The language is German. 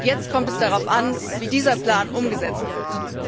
Jetzt kommt es darauf an, wie dieser Plan umgesetzt wird.